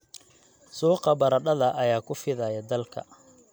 Suuqa baradhada ayaa ku fidaya dalka.